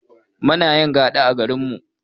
Munayin gaɗa a garinmu